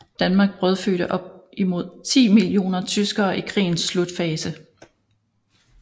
Danmark brødfødte op imod 10 millioner tyskere i krigens slutfase